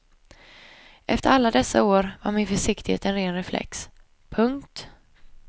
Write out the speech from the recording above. Efter alla dessa år var min försiktighet en ren reflex. punkt